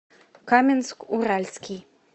каменск уральский